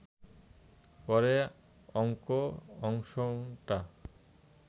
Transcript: পরে অঙ্ক অংশটা